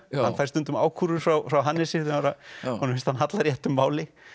hann fær stundum ákúrur frá Hannesi þegar að honum finnst hann halla réttu máli